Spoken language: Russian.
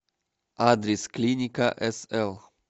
адрес клиника сл